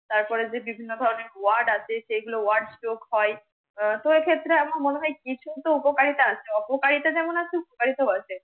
তারপরে যে বিভিন্ন ধরণের WORD আছে সেগুলো WORD চোখ হয়। তো এ ক্ষেত্রে আমার মনে হয় কিছুত উপকারিতা আছে, অপকারিতা যেমন আছে, উপকারিতা ও আছে